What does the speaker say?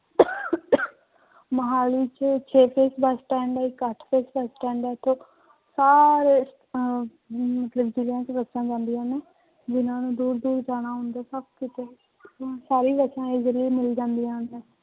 ਮੁਹਾਲੀ ਚ bus stand ਹੈ ਇੱਕ ਅੱਠ ਬਸ ਸਟੈਂਡ ਹੈ ਇੱਥੇ ਸਾਰੇ ਅਹ ਮਤਲਬ ਜ਼ਿਲ੍ਹਿਆਂ ਚ ਬੱਸਾਂ ਜਾਂਦੀਆਂ ਨੇ, ਜਿਹਨਾਂ ਨੇ ਦੂਰ ਦੂਰ ਜਾਣਾ ਹੁੰਦਾ ਹੈ ਸਭ ਕਿਤੇ ਸਾਰੀ ਬੱਸਾਂ easily ਮਿਲ ਜਾਂਦੀਆਂ ਨੇ।